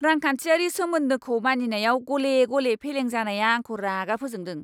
रांखान्थियारि समखोन्दोखौ मानिनायाव गले गले फेलेंजानाया आंखौ रागा फोजोंदों।